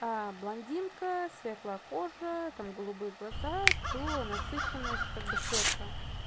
блондинка светлокожая там голубые глаза то насыщенность как бы светлая